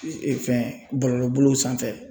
fɛn bɔlɔlɔbolow sanfɛ